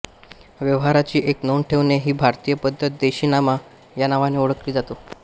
व्यवहाराची एक नोंद ठेवणे हि भारतीय पद्धत देशीनामा या नावाने ओळखली जाते